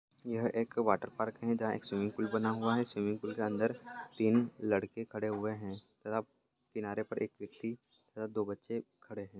यह एक water park है जहां एक स्विमिंग पूल बना हुए है स्विमिंग पूल के अंदर तीन लड़के खड़े हुए है मतलब किनारे पर एक व्यक्ति दो बच्चे खड़े है।